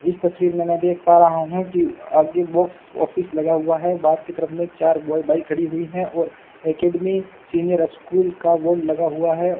इस तस्वीर मे मैं देख पा रहा हूं की आगे बॉक्स ऑफिस लगा हुआ है बाहर की तरफ मे चार बॉय बाइक खड़ी हुई है और अकादमी सीनियर ऑफ स्कूल का बोर्ड लगा हुआ है।